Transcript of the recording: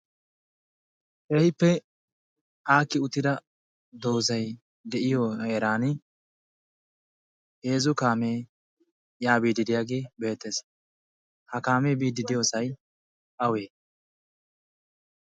heehippe aakki uttida doozay de'iyo heeran heezu kaamee yaabiididiyaagi beettees ha kaamee biiddi diyoosai awee?